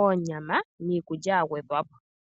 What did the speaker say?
,oonyama niikulya ya gwedhwa po.